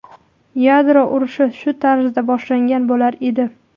Yadro urushi shu tarzda boshlangan bo‘lar edi.